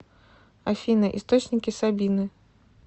афина источники сабины